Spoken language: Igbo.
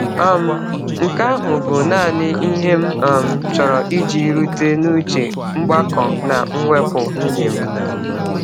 um Nke ahụ bụ naanị ihe m um chọrọ iji rute n’uche mgbakọ na mwepụ nwunye m.